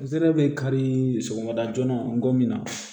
N zɛrɛ bɛ kari sɔgɔmada joona n ko min na